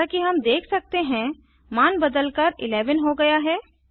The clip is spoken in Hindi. जैसा कि हम देख सकते हैं मान बदलकर 11 हो गया है